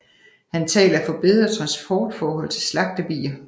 Han taler for bedre transportforhold til slagtebier